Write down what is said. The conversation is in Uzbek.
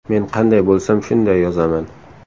Men qanday bo‘lsam shunday yozaman.